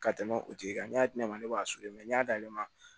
Ka tɛmɛ o tigi kan n'a di ne ma ne b'a sɔrɔ n y'a da ma